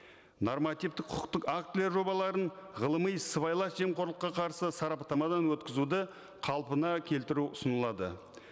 нормативтік құқықтық актілер жобаларын ғылыми сыбайлас жемқорлыққа қарсы сараптамадан өткізуді қалпына келтіру ұсынылады